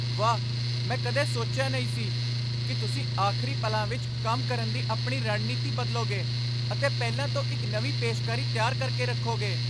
ਵਾਹ! ਮੈਂ ਕਦੇ ਸੋਚਿਆ ਨਹੀਂ ਸੀ ਕਿ ਤੁਸੀਂ ਆਖ਼ਰੀ ਪਲਾਂ ਵਿੱਚ ਕੰਮ ਕਰਨ ਦੀ ਆਪਣੀ ਰਣਨੀਤੀ ਬਦਲੋਗੇ ਅਤੇ ਪਹਿਲਾਂ ਤੋਂ ਇੱਕ ਨਵੀਂ ਪੇਸ਼ਕਾਰੀ ਤਿਆਰ ਕਰ ਕੇ ਰੱਖੋਗੇ।